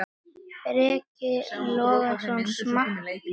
Breki Logason: Og smakkast vel?